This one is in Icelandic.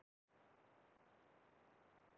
Heyrið þið, sagði pilturinn.